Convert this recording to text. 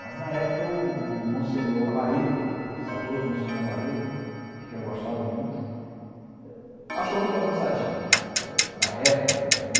Mas, na época, o o Monsenhor Amarilho, saudoso Monsenhor Amarilho, de quem eu gostava muito, achou muito avançadinho para para a época, era mil